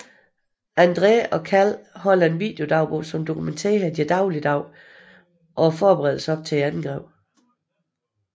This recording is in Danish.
Andre og Cal holder en videodagbog som dokumentere deres dagligdage og forberedelser op til angrebet